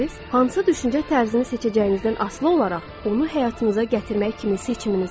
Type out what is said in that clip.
Hansı düşüncə tərzini seçəcəyinizdən asılı olaraq onu həyatınıza gətirmək kimi seçiminiz var.